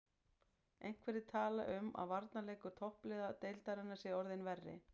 Einhverjir tala um að varnarleikur toppliða deildarinnar sé orðinn verri.